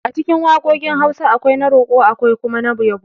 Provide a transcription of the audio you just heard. Acikin waƙoƙin Hausa, akwai na roƙo akwai kuma na yabo